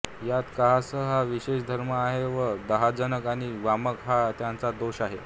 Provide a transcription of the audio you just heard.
यांत कासहर हा विशेष धर्म आहे व दाहजनक आणि वामक हा त्याचा दोष आहे